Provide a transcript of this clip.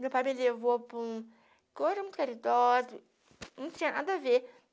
Meu pai me levou para um... caridoso, não tinha nada a ver.